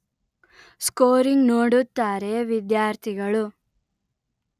scoring ನೋಡುತ್ತಾರೆ ವಿದ್ಯಾರ್ಥಿಗಳು